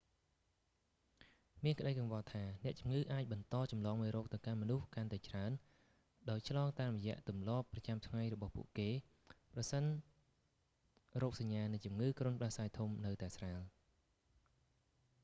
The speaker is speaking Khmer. មានក្ដីកង្វល់ថា អ្នកជំងឺអាចបន្តចម្លងមេរោគទៅកាន់មនុស្សកាន់តែច្រើន ដោយឆ្លងតាមរយៈទម្លាប់ប្រចាំថ្ងៃរបស់ពួកគេ ប្រសិនរោគសញ្ញានៃជំងឺគ្រុនផ្ដាសាយធំនៅតែស្រាល